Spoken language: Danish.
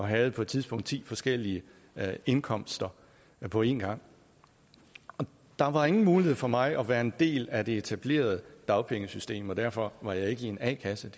havde på et tidspunkt ti forskellige indkomster på en gang der var ingen mulighed for mig for at være en del af det etablerede dagpengesystem og derfor var jeg ikke i en a kasse